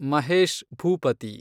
Mahesh Bhupathi